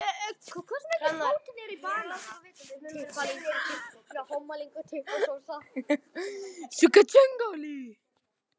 En verður tekið mark á hugmyndum borgaranna?